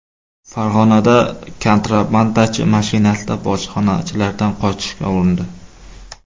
Farg‘onada kontrabandachi mashinasida bojxonachilardan qochishga urindi.